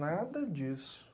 Nada disso.